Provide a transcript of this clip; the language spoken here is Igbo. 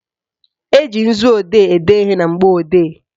Eji nzuodee ede ihe na mgbọodee